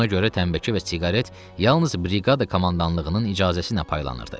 Buna görə tənnbəki və siqaret yalnız briqada komandanlığının icazəsinə paylanırdı.